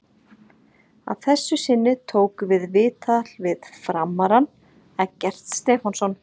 Að þessu sinni tókum við viðtal við FRAM-arann Eggert Stefánsson.